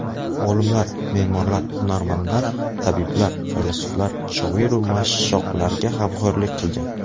Olimlar, me’morlar, hunarmandlar, tabiblar, faylasuflar, shoiru mashshoqlarga g‘amxo‘rlik qilgan.